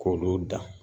K'olu dan